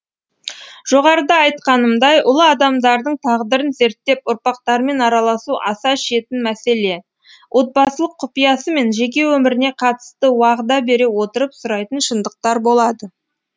жоғарыда айтқанымдай ұлы адамдардың тағдырын зерттеп ұрпақтарымен араласу аса шетін мәселе отбасылық құпиясы мен жеке өміріне қатысты уағда бере отырып сұрайтын шындықтар болады